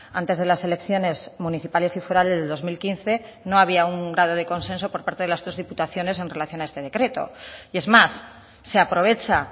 antes de las elecciones municipales y forales del dos mil quince no había un grado de consenso por parte de las tres diputaciones en relación a este decreto y es más se aprovecha